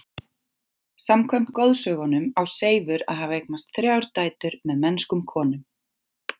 Samkvæmt goðsögunum á Seifur að hafa eignast þrjár dætur með mennskum konum.